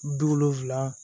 Wolonfila